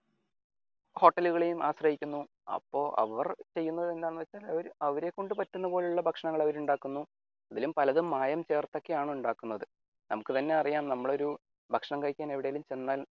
ഹോട്ടലുകളെയും ആശ്രയിക്കുന്നു അപ്പൊ അവർ ചെയ്യുന്നത് എന്താണെന്നുവെച്ചാൽ അവരെ കൊണ്ട് പറ്റുന്നത് പോലെയുള്ള ഭക്ഷണങ്ങൾ അവർ ഉണ്ടാക്കുന്നു അവരും പലതും മായം ചേർത്തൊക്കെയാണ് ഉണ്ടാക്കുന്നത് നമ്മുക്ക് തന്നെ അറിയാം നമ്മൾ ഒരു ഭക്ഷണം കഴിക്കാൻ എവിടെയെങ്കിലും ചെന്നാൽ